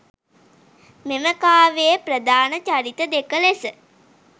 මෙම කාව්‍යයේ ප්‍රධාන චරිත දෙක ලෙස